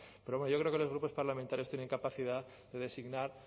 pero hombre yo creo que los grupos parlamentarios tienen capacidad de designar